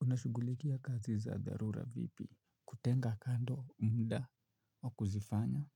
Unashugulikia kazi za dharura vipi, kutenga kando mda wa kuzifanya,